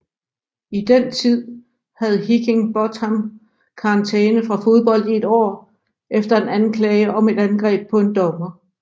I den tid havde Higginbotham karantæme fra fodbold i et år efter en anklage om et angreb på en dommer